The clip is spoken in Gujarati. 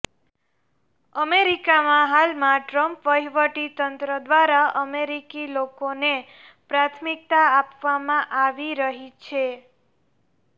અમેરિકામાં હાલમાં ટ્રમ્પ વહીવટીતંત્ર દ્વારા અમેરિકી લોકોને પ્રાથમિકતા આપવામાં આવી રહી છે